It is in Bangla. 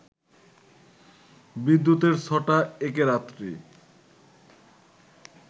বিদ্যুতের ছটা, একে রাত্রি